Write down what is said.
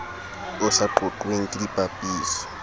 o sa qoqweng ke dipapiso